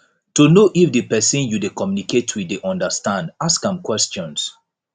to know if di persin you de communicate with dey understand ask am questions